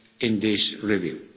in this review.